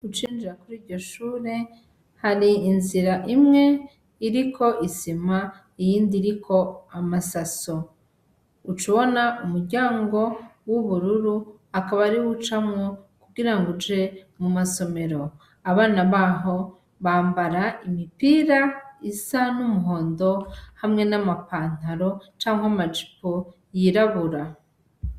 Ucinjira kuri iryo shure, hari inzira imwe iriko isima, iyindi iriko amasaso. Ucubona umuryango w'ubururu akaba ariwo ucamwo kugira ngo uje mu masomero. Abana baho, bambara imipira isa n'umuhondo hamwe n'ama pantaro canke amajipo yirabura .